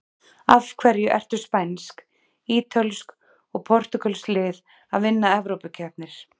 Af hverju eru spænsk, ítölsk og portúgölsk lið að vinna evrópukeppnir?